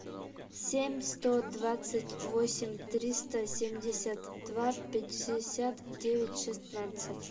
семь сто двадцать восемь триста семьдесят два пятьдесят девять шестнадцать